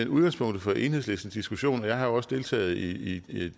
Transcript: udgangspunktet for enhedslistens diskussion jeg har jo også deltaget i